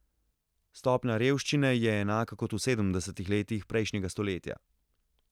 Stopnja revščine je enaka kot v sedemdesetih letih prejšnjega stoletja.